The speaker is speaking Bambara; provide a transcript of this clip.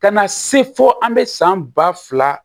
Ka na se fo an bɛ san ba fila